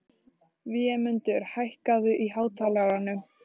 Vémundur, hækkaðu í hátalaranum.